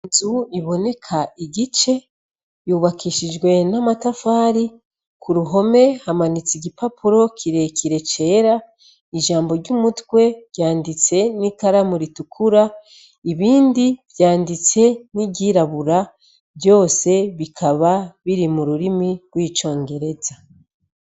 Inzu iboneka igice yubakishijwe n'amatafari ku ruhome hamanitse igipapuro kirekire cera ijambo ry'umutwe ryanditse n'ikaramu ritukura ibindi vyanditse n'iryirabura vyose bikaba biri mu rurimi rw'ico ngera beza.